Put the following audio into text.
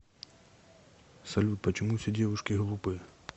салют почему все девушки глупые